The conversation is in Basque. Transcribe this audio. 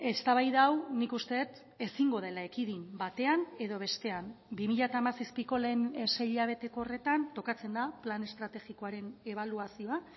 eztabaida hau nik uste dut ezingo dela ekidin batean edo bestean bi mila hamazazpiko lehen sei hilabeteko horretan tokatzen da plan estrategikoaren ebaluazioa